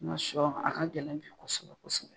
Nga sɔ a ka gɛlɛn bi kosɛbɛ kosɛbɛ